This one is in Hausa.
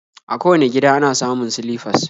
A kowane gida ana samun silifas